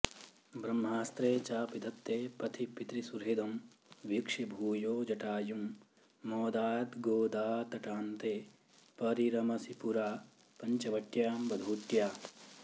ब्रह्मास्त्रे चापि दत्ते पथि पितृसुहृदं वीक्ष्य भूयो जटायुं मोदाद्गोदातटान्ते परिरमसि पुरा पञ्चवट्यां वधूट्या